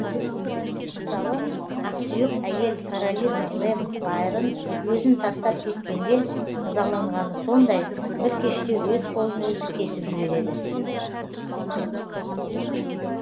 мысалы ақсүйек әйел каролина лэм байрон өзін тастап кеткенде ызаланғаны сондай бір кеште өз қолын өзі кесіп жібереді